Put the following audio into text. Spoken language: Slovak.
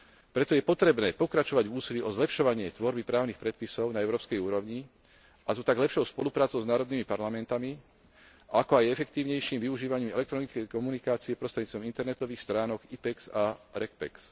Preto je potrebné pokračovať v úsilí o zlepšovanie tvorby právnych predpisov na európskej úrovni, a to tak lepšou spoluprácou s národnými parlamentmi, ako aj efektívnejším využívaním elektronickej komunikácie prostredníctvom internetových stránok IPEX a REGPEX.